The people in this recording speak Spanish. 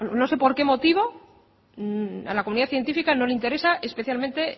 no sé por qué motivo a la comunidad científica no le interesa especialmente